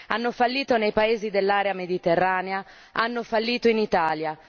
Hanno fallito nei paesi dell'area mediterranea, hanno fallito in Italia.